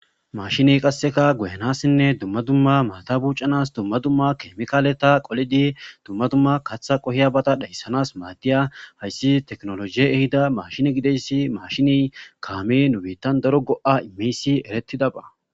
Mashiney qasseka guyanassinne dumma dumma maata buucanas dumma dumma kemikaaleta qolidi dumma dumma katha qohyabata dhahyssanas maaddiya hayssi teknologiye ehida mashine gideyssi mashine kaame nubitan daro go'a imeysi eretidaba.